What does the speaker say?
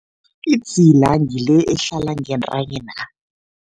Idzila ngile ehlala ngentanyena.